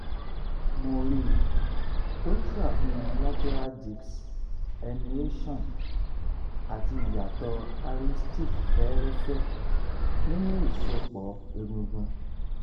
mri tó ń ṣàfihàn lateral disc herniation àti ìyàtọ̀ arthritic fẹ́ẹ́rẹ́fẹ́ nínú ìsòpọ̀ egungun